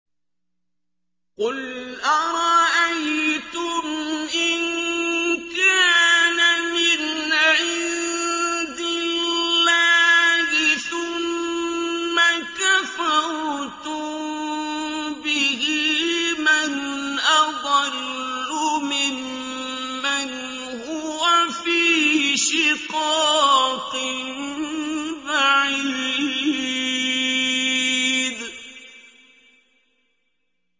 قُلْ أَرَأَيْتُمْ إِن كَانَ مِنْ عِندِ اللَّهِ ثُمَّ كَفَرْتُم بِهِ مَنْ أَضَلُّ مِمَّنْ هُوَ فِي شِقَاقٍ بَعِيدٍ